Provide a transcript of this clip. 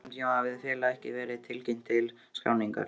Á þessum tíma hafði félagið ekki verið tilkynnt til skráningar.